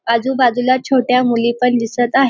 आजूबाजूला छोट्या मुली पण दिसत आहेत.